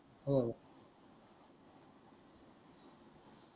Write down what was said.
हो